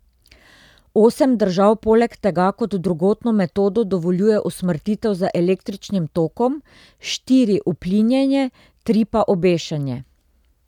Osem držav poleg tega kot drugotno metodo dovoljuje usmrtitev z električnim tokom, štiri uplinjenje, tri pa obešenje.